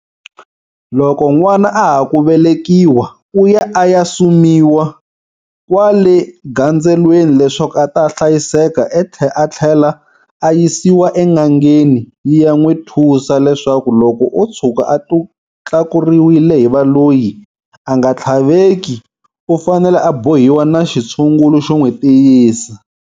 Loko n'wana a ha ku velekiwa u ya a ya sumiwa kwale gandzelweni leswaku a ta hlayiseka a tlhela a yisiwa en'angeni yi ya n'wi thusa leswaku loko o tshuka a tlakuriwile hi valoyi a nga tlhaveki u fanele a bohiwa na xitshungulu xo n'wi tiyisa.